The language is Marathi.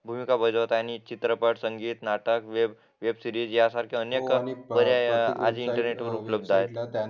भूमिका बजावत आहे आणि चित्रपट संगीत नाटक वेब सिरीज अनेक इंटरनेटवर उपलब्ध आहे